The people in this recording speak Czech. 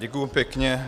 Děkuji pěkně.